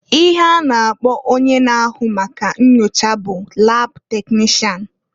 Ihe a na-akpọ onye n'ahụ maka nnyocha bụ lab teknishan.